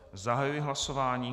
Zahajuji hlasování.